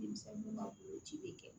Denmisɛnnu ka bolo ci be kɛ